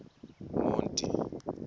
monti